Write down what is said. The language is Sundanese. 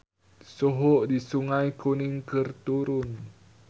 Suhu di Sungai Kuning keur turun